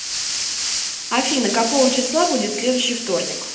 афина какого числа будет следующий вторник